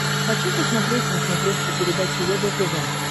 хочу посмотреть на смотрешке передачу егэ тв